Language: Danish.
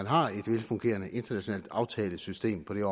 har et velfungerende internationalt aftalesystem på det